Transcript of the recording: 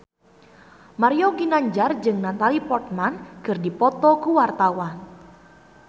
Mario Ginanjar jeung Natalie Portman keur dipoto ku wartawan